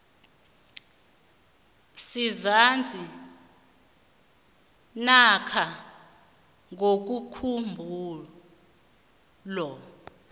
sisazi namkha ngokomkhumbulo